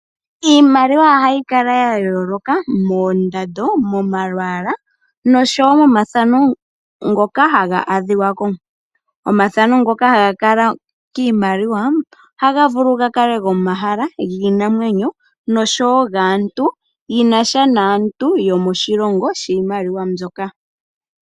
Iimaliwa ohayi kala yayooloka moondando , momalwaala noshowoo momafano ngoka haga adhikwako . Omafano ngoka haga kala kiimaliwa ohaga vulu gakale gomahala giinamwenyo noshowoo gaantu